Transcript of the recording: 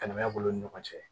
Kana b'u ni ɲɔgɔn cɛ